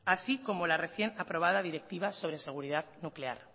así como la recién aprobada directiva sobre seguridad nuclear